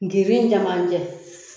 Girin ɲɛmanjɛ